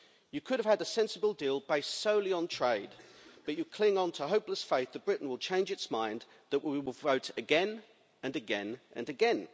You could have had a sensible deal based solely on trade but you cling on to hopeless faith that Britain will change its mind, that we will vote again and again and again.